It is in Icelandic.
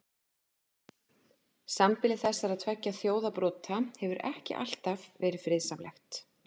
Sambýli þessara tveggja þjóðarbrota hefur ekki alltaf verið friðsamlegt.